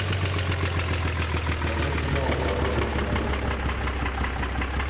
покажи кино вооружен и опасен